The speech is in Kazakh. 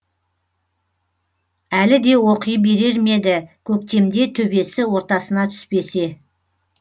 әлі де оқи берер ме еді көктемде төбесі ортасына түспесе